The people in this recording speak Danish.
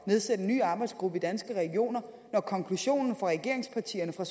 nedsætte en ny arbejdsgruppe i danske regioner når konklusionen for regeringspartierne og